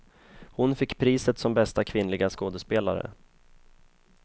Hon fick priset som bästa kvinnliga skådespelare.